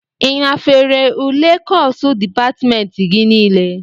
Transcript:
Ị nafere ule kọsu dịpatmentị gị nile?